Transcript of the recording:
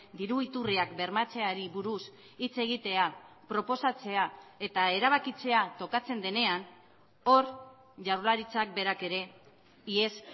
diru iturriak bermatzeari buruz hitz egitea proposatzea eta erabakitzea tokatzen denean hor jaurlaritzak berak ere ihes